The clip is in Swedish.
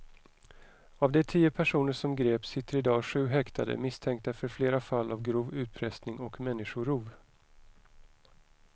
Av de tio personer som greps sitter i dag sju häktade misstänkta för flera fall av grov utpressning och människorov.